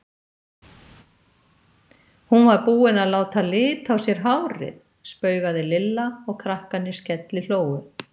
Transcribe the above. Hún var búin að láta lita á sér hárið! spaugaði Lilla og krakkarnir skellihlógu.